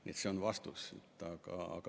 Nii et see on vastus.